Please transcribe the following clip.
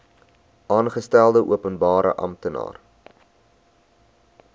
aangestelde openbare amptenaar